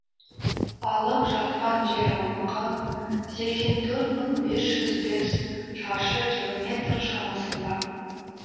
алып жатқан жер аумағы сексен төрт мың бес жүз бес шаршы километр шамасында